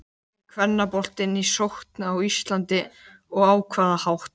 Er kvennaboltinn í sókn á Íslandi og á hvaða hátt?